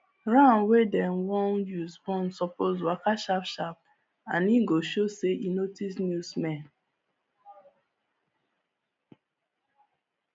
ram wey dem wan use born suppose waka sharp sharp and e go show say e notice new smell